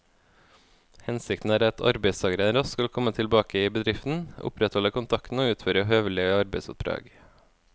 Hensikten er at arbeidstakeren raskt skal komme tilbake i bedriften, opprettholde kontakten og utføre høvelige arbeidsoppdrag.